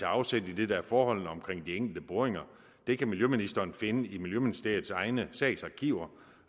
afsæt i det der er forholdene omkring de enkelte boringer det kan miljøministeren finde i miljøministeriets egne sagsarkiver